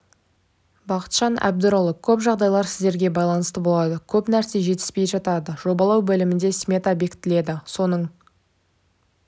бақытжан әбдірұлы көп жағдайлар сіздерге байланысты болады көп нәрсе жетіспей жатады жобалау бөлімінде смета бекітіледі соның